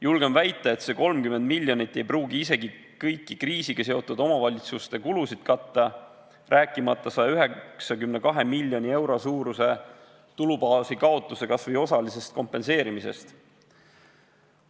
Julgen väita, et see 30 miljonit ei pruugi isegi kõiki kriisiga seotud omavalitsuste kulusid katta, rääkimata 192 miljoni euro suuruse tulubaasi kaotuse kas või osalisest kompenseerimisest.